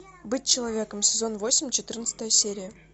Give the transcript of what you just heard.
быть человеком сезон восемь четырнадцатая серия